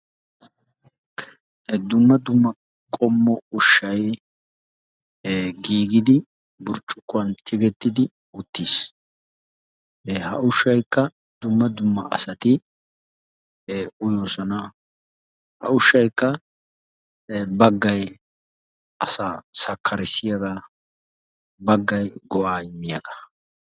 Dumma dumma ushshaa qommoy giigidi burccukkuwan tigettidi uttiis. Ha ushshaykka dumma dumma asati uyoosona. Ha ushshaykka baggay asaa sakkjarissiyagaa Baggay qassi mal"iyagaa.